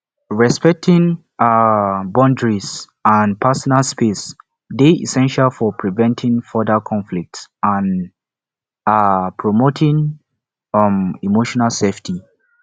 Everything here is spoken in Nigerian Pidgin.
respecting um boundaries and personal space dey essential for preventing further conflict and um promoting um emotional safety